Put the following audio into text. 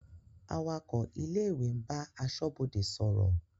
Awakọ̀ ilé-ìwé ń bá aṣọ́bodè sọ̀rọ̀.